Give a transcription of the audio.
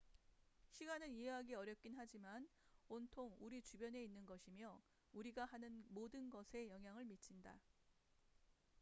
시간은 이해하기 어렵긴 하지만 온통 우리 주변에 있는 것이며 우리가 하는 모든 것에 영향을 미친다